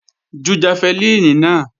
Ju jafẹlíìnì náà!